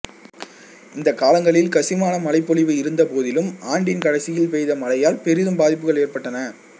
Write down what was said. இந்த காலங்களில் கசிமான மழைபொழிவு இருந்த போதிலும் ஆண்டின் கடைசியில் பெய்த மழையால் பெரிதும் பாதிப்புகள் ஏற்பட்டன